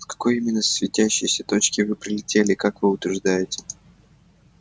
с какой именно светящейся точки вы прилетели как вы утверждаете